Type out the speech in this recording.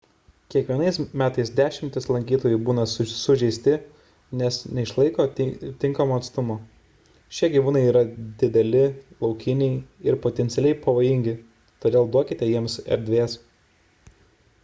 kiekvienais metais dešimtys lankytojų būna sužeisti nes neišlaiko tinkamo atstumo šie gyvūnai yra dideli laukiniai ir potencialiai pavojingi todėl duokite jiems erdvės